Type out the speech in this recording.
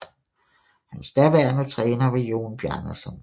Hans daværende træner var Jón Bjarnason